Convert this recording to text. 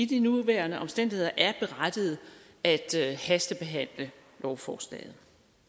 de nuværende omstændigheder er berettiget at hastebehandle lovforslaget